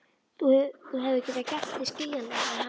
Þú hefur getað gert þig skiljanlegan við hana?